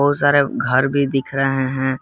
सारे घर भी दिख रहे हैं।